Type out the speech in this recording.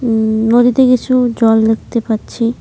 উম নদীতে কিছু জল দেখতে পাচ্ছি।